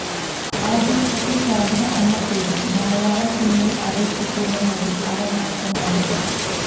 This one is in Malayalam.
ആദ്യകാലത്ത് ശോഭന എന്ന പേരിൽ മലയാളസിനിമയിൽ അറിയപ്പെട്ടിരുന്ന നടി അവർ മാത്രമായിരുന്നു